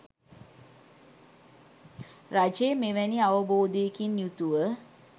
රජය මෙවැනි අවබෝධයකින් යුතුව